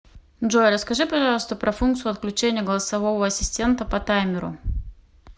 джой расскажи пожалуйста про функцию отключения голосового ассистента по таймеру